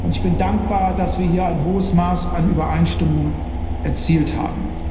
Ich bin dankbar, dass wir hier ein hohes Maß an Übereinstimmung erzielt haben.